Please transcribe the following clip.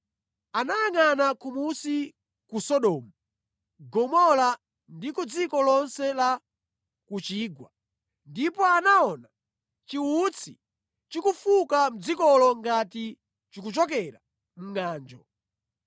Anayangʼana kumunsi ku Sodomu, Gomora ndi ku dziko lonse la ku chigwa, ndipo anaona chiwutsi chikufuka mʼdzikolo ngati chikuchokera mʼngʼanjo.